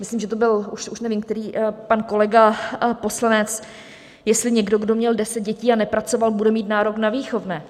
Myslím, že to byl... už nevím který pan kolega poslanec, jestli někdo, kdo měl 10 dětí a nepracoval, bude mít nárok na výchovné.